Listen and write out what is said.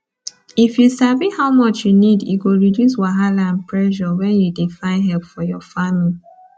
if you sabi how much you need e go reduce wahala and pressure when you dey find help for your farming